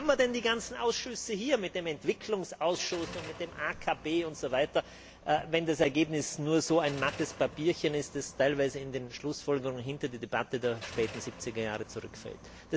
Wozu haben wir denn die ganzen Ausschüsse hier mit dem Entwicklungsausschuss, der AKP Versammlung und so weiter wenn das Ergebnis nur so ein mattes Papierchen ist, das teilweise in den Schlussfolgerungen hinter die Debatte der späten 70er Jahre zurückfällt?